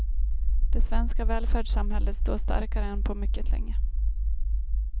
Det svenska välfärdssamhället står starkare än på mycket länge.